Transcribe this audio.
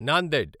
Nanded